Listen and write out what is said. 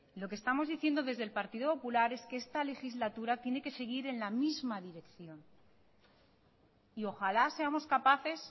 lo que estamos diciendo desde el partido popular es que esta legislatura tiene que seguir en la misma dirección y ojalá seamos capaces